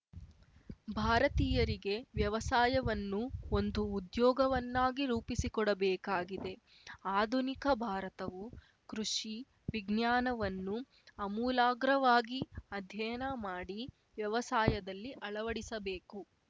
ಭಾರತೀಯರಿಗೆ ವ್ಯವಸಾಯವನ್ನು ಒಂದು ಉದ್ಯೋಗವನ್ನಾಗಿ ರೂಪಿಸಿಕೊಡಬೇಕಾಗಿದೆ ಆಧುನಿಕ ಭಾರತವು ಕೃಷಿ ವಿಜ್ಞಾನವನ್ನು ಅಮೂಲಾಗ್ರವಾಗಿ ಅಧ್ಯಯನ ಮಾಡಿ ವ್ಯವಸಾಯದಲ್ಲಿ ಅಳವಡಿಸಬೇಕು